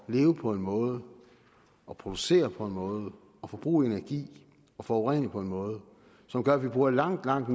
leve på en måde og producere på en måde og forbruge energi og forurene på en måde som gør at vi bruger langt langt